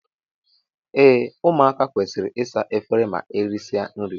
Ee ụmụaka kwesịrị ịsa efere ma erisia nri.